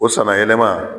O sanna yɛlɛma